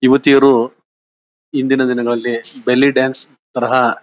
ಯುವತಿಯರು ಹಿಂದಿನ ದಿನಗಳಲ್ಲಿ ಬೆಲ್ಲಿ ಡಾನ್ಸ್ ತರಹ--